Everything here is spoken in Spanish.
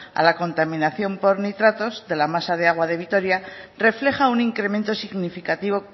a la contaminación por nitratos de la masa de aguas de vitoria refleja un incremento significativo